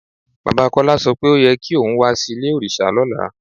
Baba Kọla sọ pé o yẹ̀ kí ọ̀un wà sí ilẹ̀-ọ̀rìṣà lọ́lá